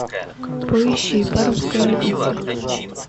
поищи пармская обитель